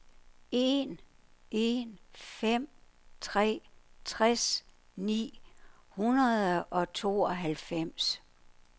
en en fem tre tres ni hundrede og tooghalvfems